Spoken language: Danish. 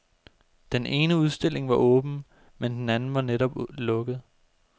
Den ene udstilling var åben, men den anden var netop lukket.